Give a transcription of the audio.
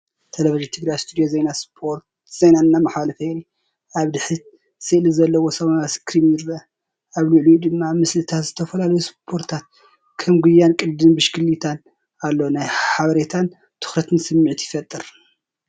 ቴሌቪዥን ትግራይ ስቱድዮ ዜና ስፖርት ዜና እንትመሓላለፍ የርኢ። ኣብ ድሕሪት ስእሊ ዘለዎ ሰማያዊ ስክሪን ይርአ፤ ኣብ ልዕሊኡ ድማ ምስልታት ዝተፈላለዩ ስፖርታት ከም ጉያን ቅድድም ብሽክለታን ኣሎ። ናይ ሓበሬታን ትኹረትን ስምዒት ይፈጥር።